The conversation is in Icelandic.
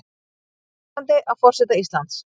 Undrandi á forseta Íslands